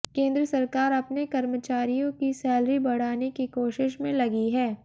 केंद्र सरकार अपने कर्मचारियों की सैलरी बढ़ाने की कोशिश में लगी है